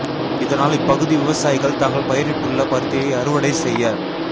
இதனால் இப் பகுதி விவசாயிகள் தாங்கள் பயிரிட்டுள்ள பருத்தியை அறுவடை செய்ய